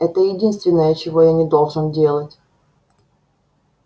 это единственное чего я не должен делать